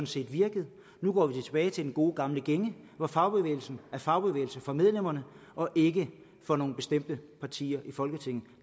set virket nu går vi tilbage til den gode gamle gænge hvor fagbevægelsen er fagbevægelse for medlemmerne og ikke for nogle bestemte partier i folketinget